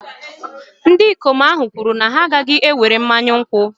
ndị ikom ahụ kwuru na ha agaghị ewere mmanya nkwụ